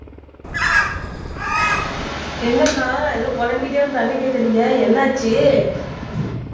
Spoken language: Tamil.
என்னக்கா ஏதோ புலம்பிட்டே வந்து தண்ணி கேக்குறீங்க என்னாச்சு